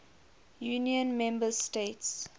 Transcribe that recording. union member states